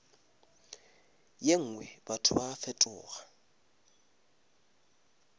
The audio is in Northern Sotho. ye nngwe batho ba fetoga